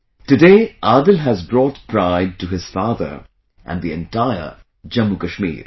Today Adil has brought pride to his father and the entire JammuKashmir